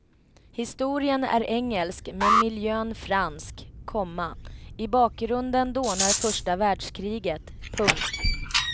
Historien är engelsk men miljön fransk, komma i bakgrunden dånar första världskriget. punkt